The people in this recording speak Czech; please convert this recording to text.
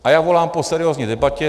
A já volám po seriózní debatě.